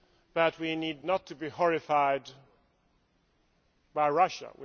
But we need not to be horrified by Russia